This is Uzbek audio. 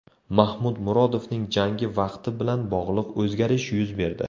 Mahmud Murodovning jangi vaqti bilan bog‘liq o‘zgarish yuz berdi.